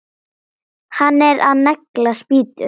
Hann er að negla spýtu.